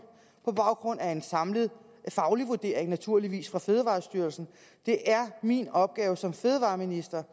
på baggrund af en samlet faglig vurdering naturligvis fra fødevarestyrelsen det er min opgave som fødevareminister